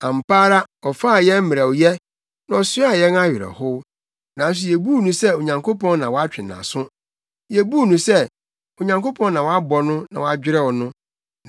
Ampa ara ɔfaa yɛn mmerɛwyɛ, na ɔsoaa yɛn awerɛhow, nanso yebuu no sɛ Onyankopɔn na watwe nʼaso. Yebuu no sɛ, Onyankopɔn na wabɔ no na wadwerɛw no.